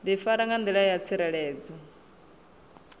difara nga ndila yo tsireledzeaho